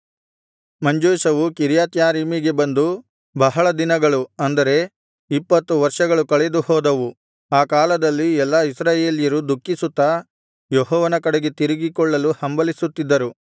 ಮಂಜೂಷವು ಕಿರ್ಯಾತ್ಯಾರೀಮಿಗೆ ಬಂದು ಬಹಳ ದಿನಗಳು ಅಂದರೆ ಇಪ್ಪತ್ತು ವರ್ಷಗಳು ಕಳೆದು ಹೋದವು ಈ ಕಾಲದಲ್ಲಿ ಎಲ್ಲಾ ಇಸ್ರಾಯೇಲ್ಯರು ದುಃಖಿಸುತ್ತಾ ಯೆಹೋವನ ಕಡೆಗೆ ತಿರುಗಿಕೊಳ್ಳಲು ಹಂಬಲಿಸುತ್ತಿದ್ದರು